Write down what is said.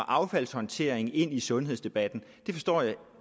affaldshåndtering ind i sundhedsdebatten forstår jeg